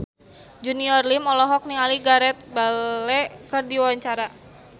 Junior Liem olohok ningali Gareth Bale keur diwawancara